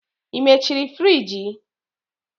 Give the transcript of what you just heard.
Ị mechiri friji?